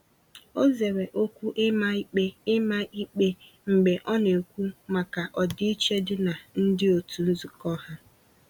O zere okwu ịma ikpe ịma ikpe mgbe ọ na-ekwu maka ọdịiche dị na ndi otu nzukọ ha.